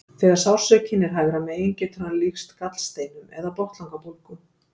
þegar sársaukinn er hægra megin getur hann líkst gallsteinum eða botnlangabólgu